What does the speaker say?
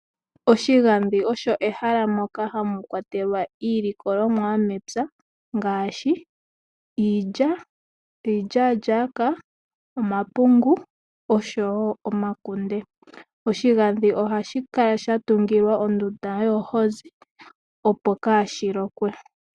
Oshigandhi osho ehala moka hamu kwatelwa iilikolomwa yomepya ngaashi iilya, iilyaalyaaka, omapungu oshowo omakunde. Oshigandhi ohashi kala sha tungilwa ondunda yoohozi, opo kaashi lokwe.